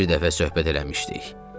Bir dəfə söhbət eləmişdik.